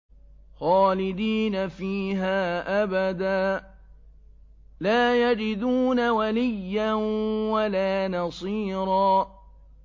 خَالِدِينَ فِيهَا أَبَدًا ۖ لَّا يَجِدُونَ وَلِيًّا وَلَا نَصِيرًا